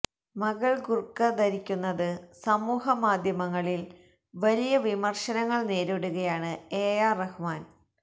മകള് ബുര്ഖ ധരിച്ചതിന് സമൂഹ മാധ്യമങ്ങളില് വലിയ വിമര്ശങ്ങള് നേരിടുകയാണ് എ ആര് റഹ്മാന്